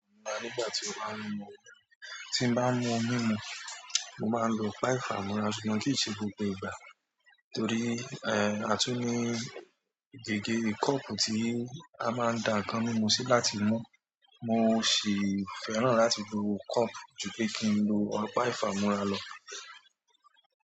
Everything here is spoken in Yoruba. Mo máa ń lo á nígbà tí mo bá ń mu omi. Tí bá ń mu ohun mímu, mo máa ń lo ọ̀pá ìfàmọ́ra ṣùgbọ́n kì í ṣe gbogbo ìgbà torí, ẹ́, a tún ní gègé kọ́ọ̀pù tí a máa ń da ǹkan mímu sí láti mú. Mo sì fẹ́ràn láti lo kọ́ọ̀pù ju pé kí n lo ọ̀pá ìfàmọ́ra lọ.